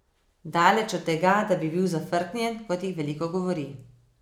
Daleč od tega, da bi bil zafrknjen, kot jih veliko govori.